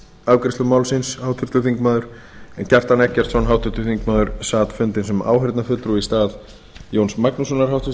afgreiðslu málsins háttvirtur þingmaður kjartan eggertsson háttvirtur þingmaður sat fundinn sem áheyrnarfulltrúi í stað jóns magnússonar háttvirts